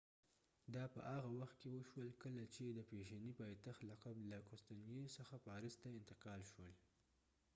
دا په هغه وخت کې وشول کله چې د فیشني پایتخت لقب له قسطنطنیې څخه پاریس ته انتقال شول